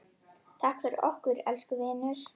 Takk fyrir okkur, elsku vinur.